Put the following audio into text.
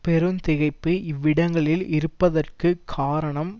பெருந்திகைப்பு இவ்விடங்களில் இருப்பதற்கு காரணம்